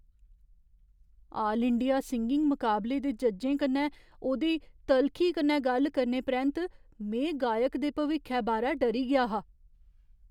आल India singing मुकाबले दे जज्जें कन्नै ओह्दे तलखी कन्नै गल्ल करने परैंत में गायक दे भविक्खै बारै डरी गेआ हा।